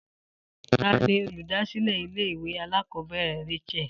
Ta ni olùdásílè ilé ìwé alákòóbèrè Rachael?